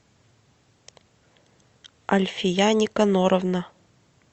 альфия никоноровна